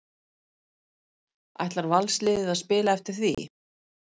Ætlar Valsliðið að spila eftir því?